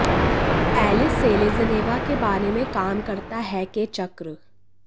Alice Selezneva के बारे में काम करता है के चक्र